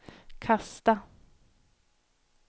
kasta